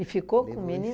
ficou com o menino?